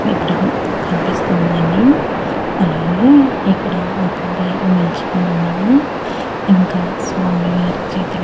ఇక్కడ కనిపిస్తుంది అండి అలాగే ఇక్కడ ఒక అబ్బాయి నిలుచుకొని ఉన్నాడు ఇంకా స్వామి వారి చేతిలో.